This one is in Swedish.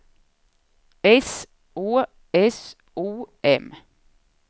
S Å S O M